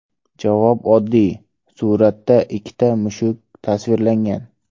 Javob oddiy: suratda ikkita mushuk tasvirlangan.